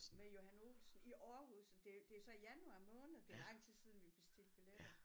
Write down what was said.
Med Johan Olsen i Aarhus det det jo så januar måned det lang tid siden vi bestilte billetter